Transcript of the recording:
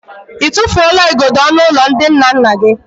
I tụfuola igodo ọnụụlọ ndina nna gị?